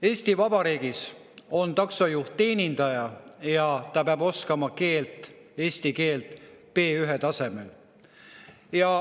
Eesti Vabariigis on taksojuht teenindaja ja ta peab oskama eesti keelt B1‑tasemel.